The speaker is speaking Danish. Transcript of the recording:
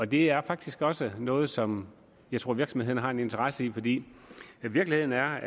det er faktisk også noget som jeg tror virksomhederne har en interesse i fordi virkeligheden er